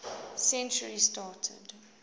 century started